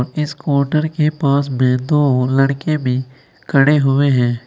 इस काउंटर के पास में दो लड़के भी खड़े हुए हैं।